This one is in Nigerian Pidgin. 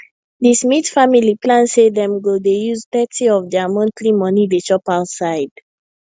the smith family plan say dem go dey use thirty of their monthly money dey chop outside